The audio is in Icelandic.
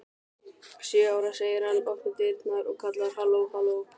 Sjö ára, segir hann, opnar dyrnar og kallar: halló halló